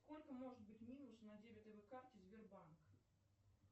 сколько может быть минус на дебетовой карте сбербанк